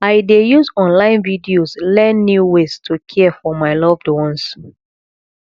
i dey use online videos learn new ways to care for my loved ones